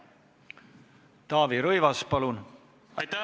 Taavi Rõivas, palun!